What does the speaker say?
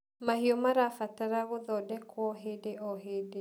mahiũ marabatara gũthondekwo hĩndĩ o hĩndĩ